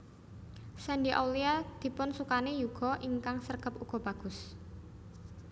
Shandy Aulia dipun sukani yuga ingkang sregep uga bagus